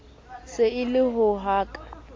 se e le ho ka